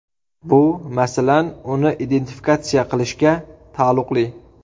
Bu, masalan, uni identifikatsiya qilishga taalluqli.